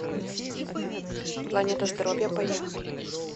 планета здоровья поехали